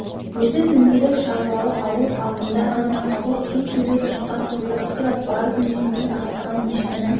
өзі дөңгелек шаруалы ауыл алдында ғана ауыр құн төлеп шыққан құйрық сұрап барып мүйзінен айырылған ешкінің